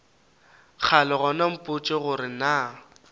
kgale gona mpotše gore na